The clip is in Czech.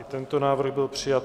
I tento návrh byl přijat.